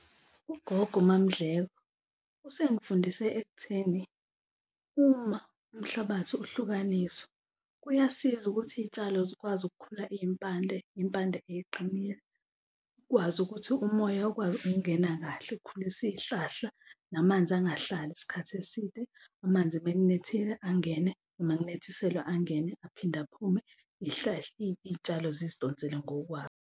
Ugogo uMaMndleko usengifundise ekutheni uma umhlabathi uhlukaniswa, kuyasiza ukuthi iy'tshalo zikwazi ukukhula iy'mpande, iy'mpande eyiqinile, ukwazi ukuthi umoya ukwazi ukungena kahle ukukhulisa iy'hlahla namanzi angahlali isikhathi eside, amanzi uma kunethile angene noma kunethiselwa angene, aphinde aphume iy'tshalo zizidonsele ngokwawo.